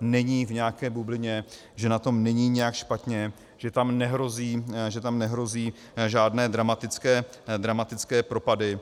není v nějaké bublině, že na tom není nijak špatně, že tam nehrozí žádné dramatické propady.